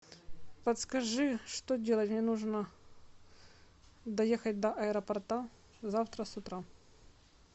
подскажи что делать мне нужно доехать до аэропорта завтра с утра